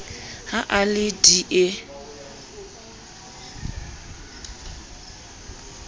ha a le d e